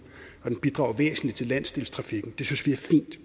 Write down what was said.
bidrager væsentligt til landsdelstrafikken det synes vi er fint